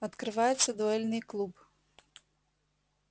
открывается дуэльный клуб